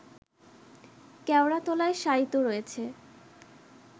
কেওড়াতলায় শায়িত রয়েছে